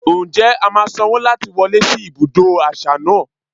Ǹjẹ́ a máa sanwó láti wọlé sí ibùdó àṣà náà?